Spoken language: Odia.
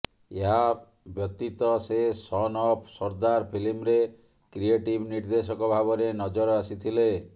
ଏହା ବ୍ୟତୀତ ସେ ସନ୍ ଅଫ୍ ସର୍ଦ୍ଦାର ଫିଲ୍ମରେ କ୍ରିଏଟିଭ୍ ନିର୍ଦ୍ଦେଶକ ଭାବରେ ନଜର ଆସିଥିଲେ